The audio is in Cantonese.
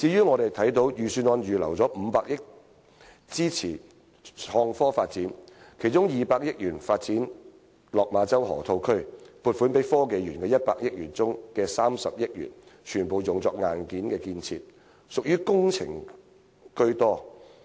我們看到，預算案預留了500億元支持創科發展，其中200億元用於發展落馬洲河套區，而在撥款給香港科技園公司的100億元當中，有30億元全部用作硬件建設。